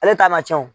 Ale ta ma cɛn o